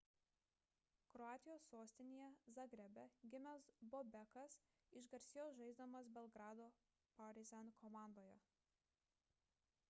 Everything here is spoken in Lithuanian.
kroatijos sostinėje zagrebe gimęs bobekas išgarsėjo žaisdamas belgrado partizan komandoje